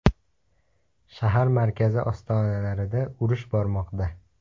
Shahar markazi ostonalarida urush bormoqda.